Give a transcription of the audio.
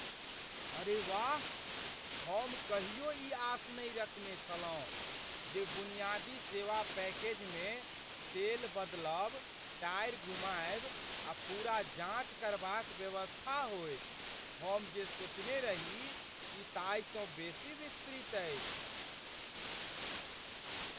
अरे वाह, हम कहियो ई आश नै रखने छलहुँ जे बुनियादी सेवा पैकेजमे तेल बदलब, टायर घुमायब आ पूरा जाञ्च करबाक व्यवस्था होयत। हम जे सोचने रही ई ताहिसँ बेसी विस्तृत अछि!